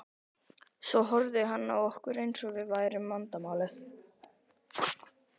Svo horfði hann á okkur eins og við værum vandamálið.